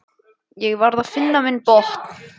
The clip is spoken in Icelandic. Ég varð að finna minn botn.